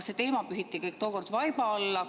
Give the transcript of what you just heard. See teema pühiti tookord vaiba alla.